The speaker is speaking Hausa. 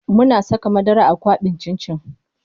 Muna saka madara a kwaɓin cin cin.